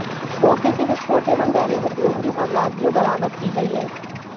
मौके से विस्फोट एवं दैनिक उपयोग की सामग्रियां बरामद की गई हैं